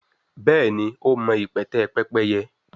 béèni o ma ipẹtẹ Pẹ́pẹ́yẹ.